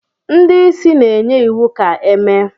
ndị isi na-enye iwu ka e mee